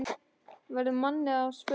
verður manni að spurn.